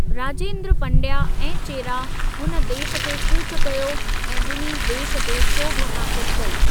राजेंद्र पंडया ऐं चेरा हुन देश ते कूच कयो ऐं ॿिन्ही देश ते सोभ हासिल कई।